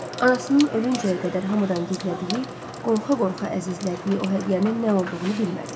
Anasının ölüncəyə qədər hamıdan gizlədiyi, qorxa-qorxa əzizlədiyi o hədiyyənin nə olduğunu bilmədi.